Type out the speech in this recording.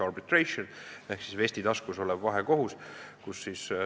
Otseses tõlkes on see siis vestitaskus olev vahekohus.